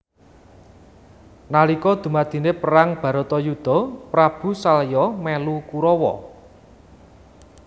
Nalika dumadine perang baratayuda Prabu salya melu Kurawa